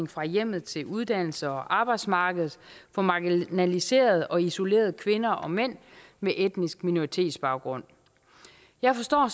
fra hjemmet til uddannelse og arbejdsmarkedet for marginaliserede og isolerede kvinder og mænd med etnisk minoritetsbaggrund jeg forstår